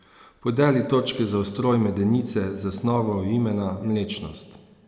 Podeli točke za ustroj medenice, zasnovo vimena, mlečnost.